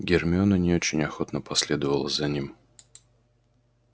гермиона не очень охотно последовала за ним